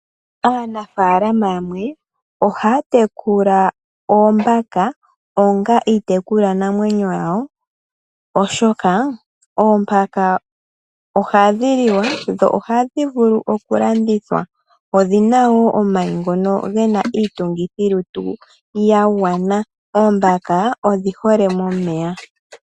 Aanafalama yamwe ohaya tekula oombaka onga iitekulwa namwenyo yawo, oshoka oombaka ohadhi liwa dho ohadhi vulu okulandithwa. Odhina wo omayi ngono gena iitungithilutu ya gwana. Oombaka odhi hole momeya.